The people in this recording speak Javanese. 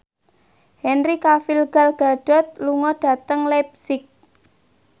Henry Cavill Gal Gadot lunga dhateng leipzig